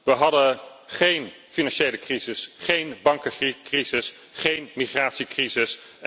We hadden geen financiële crisis, geen bankencrisis, geen migratiecrisis.